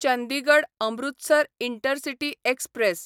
Chandigarh Amritsar intercity express